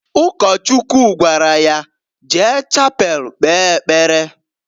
Ụkọchukwu gwara ya, "Jee Chapel kpee ekpere!"